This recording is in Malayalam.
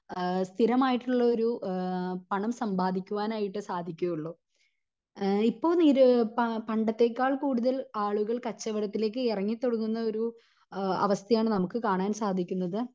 ആഹ് സ്ഥിരമായിട്ടുള്ളൊരു ആഹ്മ് പണം സമ്പാദിക്കുവാനായിട്ട് സാധിക്കുവൊള്ളൂ ഇപ്പൊ നിര പ പണ്ടത്തേക്കാൾ കൂടുതൽ ആളുകൾ കച്ചവടത്തിലേക്ക് എറങ്ങി തൊടങ്ങുന്ന ഒരു ആഹ് അവസ്ഥ ആണ് നമുക്ക് കാണാൻ സാധിക്കുന്നത്